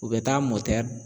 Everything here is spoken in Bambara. U bɛ taa